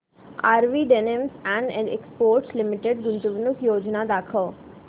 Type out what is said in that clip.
RV denims and exports limited गुंतवणूक योजना दाखव